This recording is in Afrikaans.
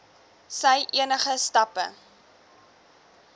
sy enige stappe